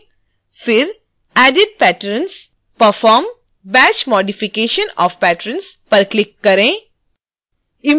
फिर edit_patrons perform batch modification of patrons पर click करें